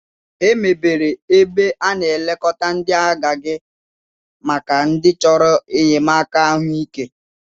Emebere ebe a na-elekọta ndị agadi maka ndị chọrọ enyemaka ahụike.